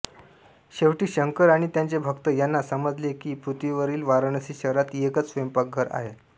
शेवटी शंकर आणि त्याचे भक्त यांना समजले की पृथ्वीवरील वाराणसी शहरात एकच स्वयंपाकघर आहे